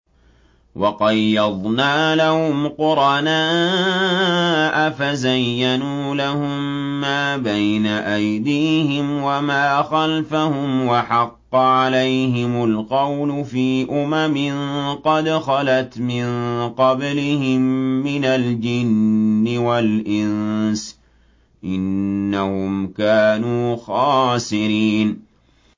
۞ وَقَيَّضْنَا لَهُمْ قُرَنَاءَ فَزَيَّنُوا لَهُم مَّا بَيْنَ أَيْدِيهِمْ وَمَا خَلْفَهُمْ وَحَقَّ عَلَيْهِمُ الْقَوْلُ فِي أُمَمٍ قَدْ خَلَتْ مِن قَبْلِهِم مِّنَ الْجِنِّ وَالْإِنسِ ۖ إِنَّهُمْ كَانُوا خَاسِرِينَ